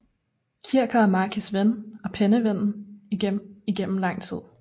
Kircher var Marcis ven og penneven igennem lang tid